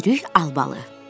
Çürük albalı.